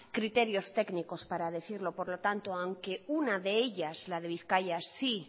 criterios técnicos para decirlo por lo tanto aunque una de ellas la de bizkaia sí